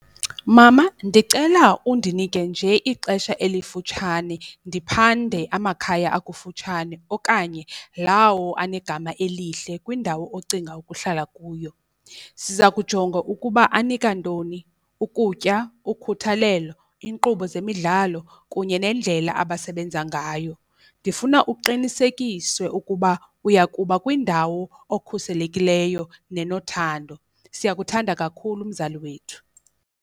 Mama, ndicela undinike nje ixesha elifutshane ndiphande amakhaya akufutshane okanye lawo anegama elihle kwindawo ocinga ukuhlala kuyo. Siza kujonga ukuba anika ntoni, ukutya, ukhuthalelo, inkqubo zemidlalo kunye nendlela abasebenza ngayo. Ndifuna uqinisekiswe ukuba uyakuba kwindawo okhuselekileyo nenothando, siyakuthanda kakhulu mzali wethu.